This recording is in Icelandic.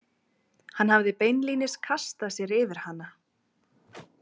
Hann hafði beinlínis kastað sér yfir hana.